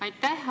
Aitäh!